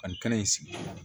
Ani kɛnɛ in sigi